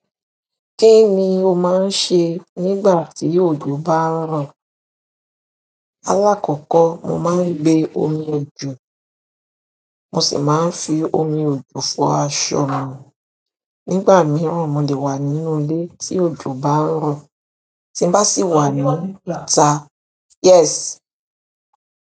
Kíni o máa ń ṣe nígbà tí òjò bá ń rọ̀? Alákọ̀kọ́ mo máa ń gbé omi ọjò, mo sì máa ń fi omi òjò fọ aṣọ mi. Nígbà mìíràn mo lè wà nínú ilé tí òjò bá ń rọ̀, tí n bá sì wà níta, yes.